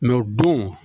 Mɛ o don